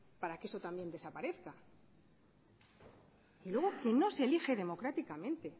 para que eso también desaparezca y luego que no se elige democráticamente